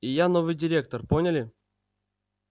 и я новый директор поняли